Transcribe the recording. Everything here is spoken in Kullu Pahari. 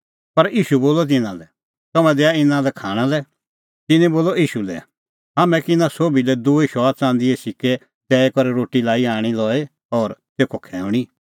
पर ईशू बोलअ तिन्नां लै तम्हैं दैआ इना लै खाणां लै तिन्नैं ईशू लै बोलअ हाम्हां कै इना सोभी लै दूई शौआ च़ंदीए सिक्कै दैई करै लाई रोटी आणी लई और तेखअ खैऊंणी